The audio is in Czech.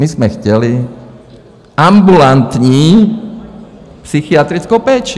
My jsme chtěli ambulantní psychiatrickou péči.